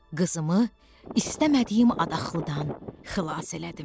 Qızımı istəmədiyim adaqlıdan xilas elədim.